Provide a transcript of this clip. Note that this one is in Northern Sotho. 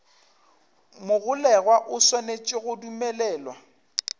mogolegwa o swanetše go dumelelwa